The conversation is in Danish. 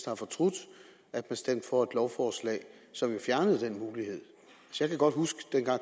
har fortrudt at man stemte for et lovforslag som fjernede den mulighed jeg kan godt huske dengang